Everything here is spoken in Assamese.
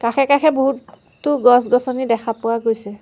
কাষে কাষে বহুত তো গছ-গছনি দেখা পোৱা গৈছে।